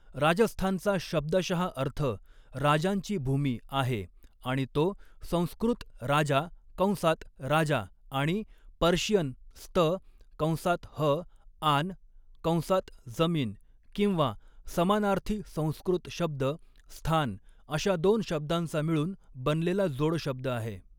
राजस्थानचा शब्दशः अर्थ 'राजांची भूमी' आहे, आणि तो संस्कृत 'राजा' कंसात राजा आणि पर्शियन 'स्तकंसात हआन' कंसात जमीन किंवा समानार्थी संस्कृत शब्द 'स्थान' अशा दोन शब्दांचा मिळून बनलेला जोडशब्द आहे.